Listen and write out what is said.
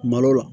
Malo la